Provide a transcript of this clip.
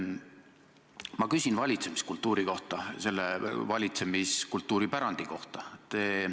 Ma küsin valitsemiskultuuri kohta, valitsemiskultuuri pärandi kohta.